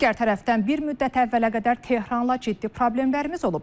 Digər tərəfdən bir müddət əvvələ qədər Tehranla ciddi problemlərimiz olub.